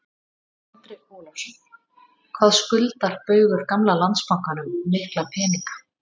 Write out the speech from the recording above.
Andri Ólafsson: Hvað skuldar Baugur gamla Landsbankanum mikla peninga?